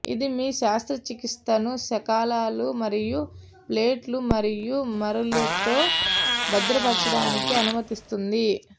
ఇది మీ శస్త్రచికిత్సను శకలాలు మరియు ప్లేట్లు మరియు మరలుతో భద్రపరచడానికి అనుమతిస్తుంది